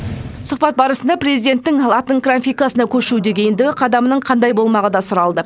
сұхбат барысында президенттің латын графикасына көшудегі ендігі қадамның қандай болмағы да сұралды